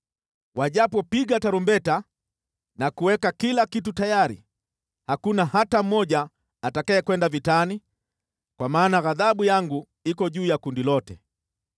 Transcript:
Wajapopiga tarumbeta na kuweka kila kitu tayari, hakuna hata mmoja atakayekwenda vitani, kwa maana ghadhabu yangu iko juu ya kundi lote.